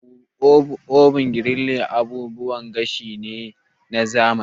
Oven, griller da toaster abubuwan gashi ne na zamani.